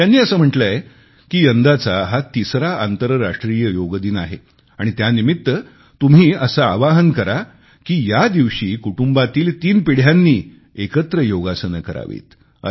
त्यांनी असे म्हटलेय की यंदाचा हा तिसरा आंतरराष्ट्रीय योग दिन आहे आणि त्यानिमित्त तुम्ही असे आवाहन करा की या दिवशी कुटुंबातील तीन पिढ्यांनी एकत्र योगासने करावीत